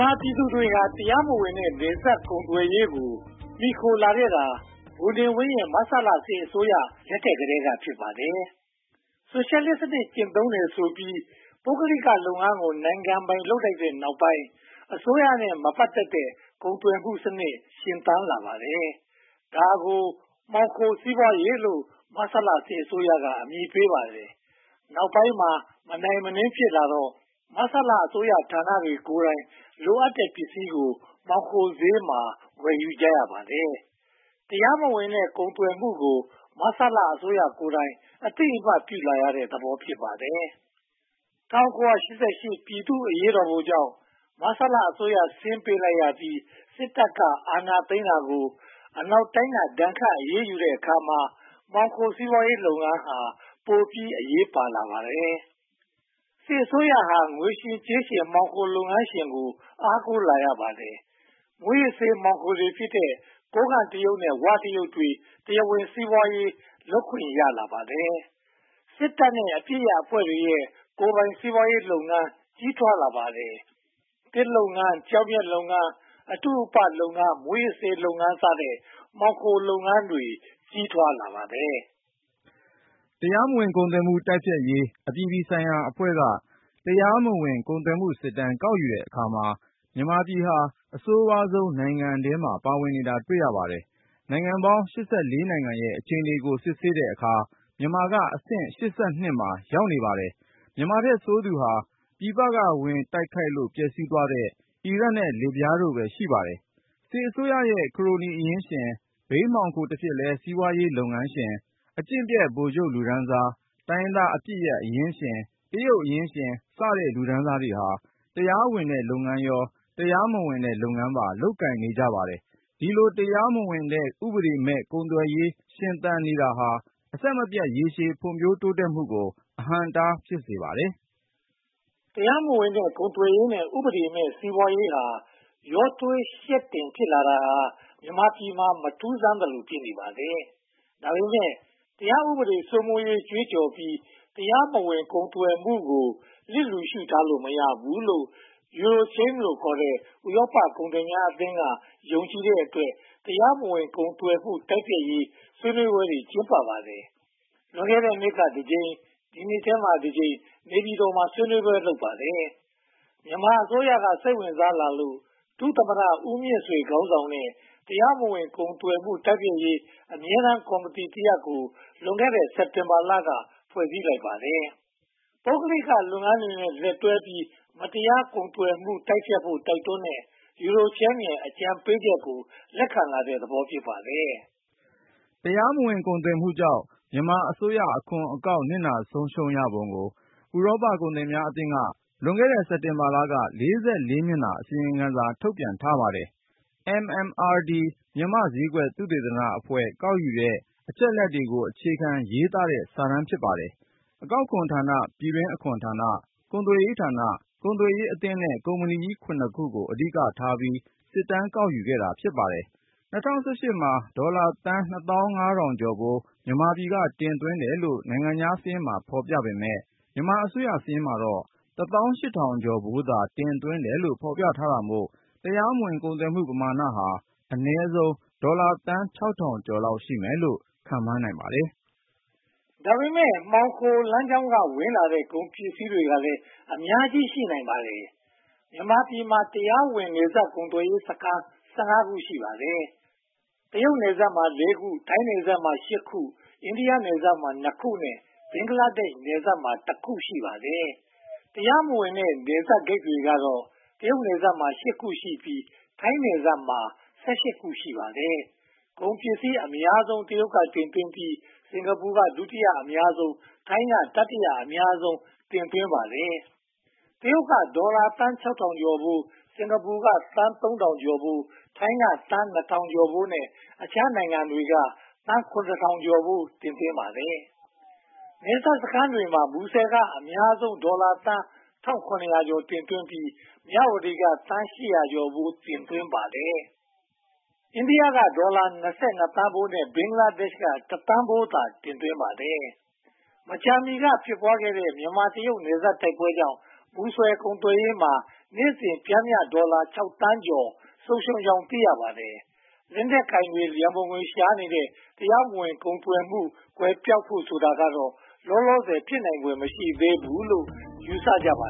ာပြည်သူတွေဟာ တရားမဝင်တဲ့ နယ်စပ်ကုန်သွယ်ရေးကို မှီခိုလာခဲ့တာ ဗိုလ်နေဝင်းရဲ့ မဆလစစ်အစိုးရလက်ထက်ကတည်းက ဖြစ်ပါတယ်။ ဆိုရှယ်လစ်စနစ် ကျင့်သုံးတယ်ဆိုပြီး ပုဂ္ဂလိကလုပ်ငန်းကို နိုင်ငံပိုင်လုပ်လိုက်တဲ့နောက်ပိုင်း အစိုးရနဲ့ မပတ်သက်တဲ့ ကုန်သွယ်မှုစနစ် ရှင်သန်လာပါတယ်။ ဒါကို မှောင်ခိုစီးပွားရေးကို မဆလအစိုးရက အမည်ပေးပါတယ်။ နောက်ပိုင်းမှာ မနိုင်မနင်းဖြစ်လာတော့ မဆလအစိုးရဌာနတွေကိုယ်တိုင် လိုအပ်တဲ့ပစ္စည်းကို မှောင်ခိုဈေးမှာ ဝယ်ယူကြရပါတယ်။ တရားမဝင်တဲ့ ကုန်သွယ်မှုကို မဆလအစိုးရကိုယ်တိုင်က အသိအမှတ်ပြုလာတဲ့သဘော ဖြစ်နေပါတယ်။ ၁၉၈၈ ပြည်သူ့အရေးတော်ပုံကြောင့် မဆလအစိုးရ ဆင်းပေးလိုက်ရပြီး စစ်တပ်က အာဏာသိမ်းတာကို အနောက်တိုင်းက ဒဏ်ခတ်အရေးယူတဲ့အခါမှာ မှောင်ခိုစီးပွားရေးလုပ်ငန်းဟာ ပိုပြီးအရေးပါလာပါတယ်။ စစ်အစိုးရာ ငွေရှင်ကြေးရှင် မှောင်ခိုလုပ်ငန်းရှင်ကို အားကိုးလာရပါတယ်။ မူးယစ်ဆေးအပစ်ရပ်အဖွဲ့တွေရဲ့ ကိုယ်ပိုင်စီးပွားရေးလုပ်ငန်း ကြီးထွားလာပါတယ်။ သစ်လုပ်ငန်း၊ ကျောက်မျက်လုပ်ငန်း၊ အတုအပလုပ်ငန်း၊ မူးယစ်ဆေးလုပ်ငန်းစတဲ့ မှောင်ခိုလုပ်ငန်းတွေ ကြီးထွားလာပါတယ်။ တရားမဝင်ကုန်သွယ်မှု တိုက်ဖျက်ရေးအပြည်ပြည်ဆိုင်ရာအဖွဲ့က တရားမဝင်ကုန်သွယ်မှုစစ်တမ်း ကောက်ယူတဲ့အခါမှာ မြန်မာနိုင်ငံဟာ အဆိုးဝါးဆုံးနိုင်ငံထဲမှာ ပါဝင်နေတာ တွေ့ရပါတယ်။ နိုင်ငံပေါင်း နိုင်ငံရဲ့ အခြေအနေကို စစ်ဆေးတဲ့အခါမှာ မြန်မာနိုင်ငံက အဆင့် မှာ ရှိနေပါတယ်။ မြန်မာပြည်ထက်ဆိုးသူက ပြည်ပက ဝင်ရောက်တိုက်ခိုက်လို့ ပျက်ဆီးသွားတဲ့ အီရတ်နဲ့ လစ်ဗျားနိုင်ငံတို့ပဲ ဖြစ်ပါတယ်။ စစ်အစိုးရရဲ့ ခရိုနီအရင်းရှင်၊ ဘိန်းမှောင်ခိုတဖြစ်လဲ စီးပွားရေးလုပ်ငန်းရှင်၊ အကျင့်ပျက်ဗိုလ်ချုပ်လူတန်းစား၊ တိုင်းရင်းသားအပစ်ရပ်အရင်ရှင်း၊ တရုတ်အရင်းရှင်စတဲ့ လူတန်းစားတွေဟာ တရားဝင်တဲ့လုပ်ငန်း၊ တရားမဝင်တဲ့လုပ်ငန်းများကို လုပ်ကိုင်နေပါတယ်။ ဒီလိုတရားမဝင်တဲ့ ဥပဒေမဲ့ ကုန်သွယ်ရေးရှင်သန်နေတာဟာ အဆင်မပြတ် ရေရှည်ဖွံ့ဖြိုးတိုးတက်မှုကို အဟန့်အတား ဖြစ်စေပါတယ်။ တရားမဝင်ကုန်သွယ်ရေးနဲ့ ဥပဒေမဲ့စီးပွားရေး ရောထွေးယှက်တင်ဖြစ်နေတာဟာ မြန်မာပြည်မှာ မထူးဆန်းသလို ဖြစ်နေပါတယ်။ ဒါပေမဲ့ တရားဥပဒေစိုးမိုးရေးကြွေးကြော်ပြီး တရားမဝင်ကုန်သွယ်မှုကို လစ်လျူရှုထားလို့ မရဘူးလို့ EuroCham ဥရောပကုန်သည်ကြီးများအသင်းက ယုံကြည်တဲ့အတွက် တရားမဝင်ကုန်သွယ်မှုတိုက်ဖျက်ရေး ဆွေးနွေးပွဲတွေ ကျင်းပကြပါတယ်။ လွန်ခဲ့တဲနှစ်က တစ်ကြိမ်၊ ဒီနှစ်ထဲမှာ တစ်ကြိမ် နေပြည်တော်မှာ ဆွေးနွေးပွဲတွေ လုပ်ကြပါတယ်။ မြန်မာအစိုးရက စိတ်ဝင်စားလာလို့ ဒုသမ္မတဦးမြင့်ဆွေ ခေါင်းဆောင်တဲ့ တရားမဝင်ကုန်သွယ်မှု တိုက်ဖျက်ရေး အမြဲတမ်းကော်မတီတရပ်ကို လွန်ခဲ့တဲ့ စက်တင်ဘာလက ဖွဲ့စည်းလိုက်ပါတယ်။ ပုဂ္ဂလိကလုပ်ငန်းတွေနဲ့ လက်တွဲပြီး တရားမဝင်ကုန်သွယ်မှုကို တိုက်ဖျက်ဖို့ တိုက်တွန်းတဲ့ EuroCham ရဲ့ အကြံပေးချက်ကို လက်ခံလာတဲ့သဘော ဖြစ်ပါတယ်။ တရားမဝင်ကုန်သွယ်မှုကြောင့် မြန်မာအစိုးရအခွန်အကောက် နစ်နာဆုံးရှုံးရပုံကို ဥရောပကုန်သည်ကြီးများအသင်းက လွန်ခဲ့တဲ့ စက်တင်ဘာလက မျက်နှာ အစီရင်ခံစာ ထုတ်ပြန်ထားပါတယ်။ MMRD မြန်မာ့ဈေးကွက်သုတေသနအဖွဲ့ ကောက်ယူတဲ့အချက်အလက်တွေကို အခြေခံရေးသားထားတဲ့ စာတမ်းဖြစ်ပါတယ်။ အကောက်ခွန်ဌာန၊ ပြည်တွင်းအခွန်ဌာန၊ ကုန်သွယ်ရေးဌာန၊ ကုန်သွယ်ရေးအသင်းနဲ့ ကုမ္ပဏီကြီး ခုကို အဓိကထားပြီး စစ်တမ်းကောက်ယူပါတယ်။ ၂၀၁၈ မှာ ဒေါ်လာသန်း ကျော်ဖိုး မြန်မာပြည်က တင်သွင်းတယ်လို့ နိုင်ငံခြားစာရင်းမှာ ဖော်ပြပေမယ့် မြန်မာအစိုးရစာရင်းမှာတော့ ဒေါ်လာသန်း ကျော်ဖိုးသာ တင်သွင်းတယ်လို့ ဖော်ပြထားတာမို့ တရားမဝင်ကုန်သွယ်မှုပမာဏဟာ အနည်းဆုံးဒေါ်လာသန်း ကျော်လောက်ရှိမယ်လို့ ခန့်မှန်းနိုင်ပါတယ်။ ဒါပေမဲ့ မှောင်ခိုလမ်းကြောင်းက ဝင်လာတဲ့ ကုန်ပစ္စည်းတွေကလည်း အများကြီးရှိနိုင်ပါတယ်။ မြန်မာပြည်မှာ တရားမဝင်နယ်စပ်ကုန်သွယ်ရေးစခန်း ခု ရှိပါတယ်။ တရုတ်နယ်စပ်မှာ ခု၊ ထိုင်းနယ်စပ်မှာ ခု၊ အိန္ဒိယနယ်စပ်မှာ ခုနဲ့ ဘင်္ဂလားဒေ့ရှ်နယ်စပ်မှာ ခု ရှိပါတယ်။ တရားမဝင်တဲ့ နယ်စပ်ဂိတ်တွေကတော့ တရုတ်နယ်စပ်မှာ ခုရှိပြီး၊ ထိုင်းနယ်စပ်မှာ ခု ရှိပါတယ်။ ကုန်ပစ္စည်းအများဆုံး ရာခိုင်နှုန်း တရုတ်ပြည်က တင်သွင်းပြီး၊ စင်္ကာပူက ဒုတိယအများဆုံး ရာခိုင်နှုန်း၊ ထိုင်းက တတိယအများဆုံး ရာခိုင်နှုန်း တင်သွင်းပါတယ်။ တရုတ်က ဒေါ်လာသန်း ကျော်ဖိုး၊ စင်္ကာပူကသန်း ကျော်ဖိုး၊ ထိုင်းက သန်း ကျော်ဖိုးနဲ့ အခြားနိုင်ငံတွေက သန်း ကျော်ဖိုး တင်သွင်းကြပါတယ်။ နယ်စပ်စခန်းတွေထဲမှာ မူဆယ်က အများဆုံး ဒေါ်လာသန်း ကျော် တင်သွင်းပြီး၊ မြဝတီက ဒေါ်လာသန်း ကျော်ဖိုး တင်သွင်းပါတယ်။ အိန္ဒိယက ဒေါ်လာ သန်းဖိုးနဲ့ ဘင်္ဂလားဒေ့ရှ်က တစ်သန်းဖိုးသာ တင်သွင်းပါတယ်။ မကြာမီက ဖြစ်ပွားခဲ့တဲ့ မြန်မာ-တရုတ် နယ်စပ်တိုက်ပွဲတွေကြောင့် မူဆယ်ကုန်သွယ်ရေးမှာ နေ့စဉ်ပျမ်းမျှ ဒေါ်လာသန်း သန်းကျော် ဆုံးရှုံးကြောင်း သိရပါတယ်။ လက်နက်ကိုင်တွေ ရန်ပုံငွေရှာနေတဲ့ တရားမဝင် ကုန်သွယ်မှုကွယ်ပျောက်ဖို့ကတော့ လောလောဆယ် ဖြစ်နိုင်ဖွယ် မရှိသေးဘူးလို့ ယူဆကြပါ